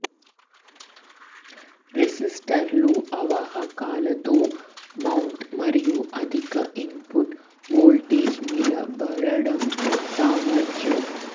రెసిస్టర్లు అవాహకాలతో మౌంట్ మరియు అధిక ఇన్పుట్ వోల్టేజ్ నిలబడడం సామర్థ్యం